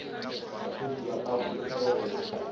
bafenyi ba ka holofelwa go